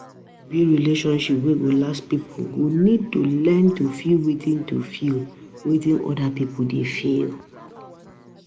To build relationship wey go last, pipo go need to learn to feel wetin to feel wetin oda pipo dey feel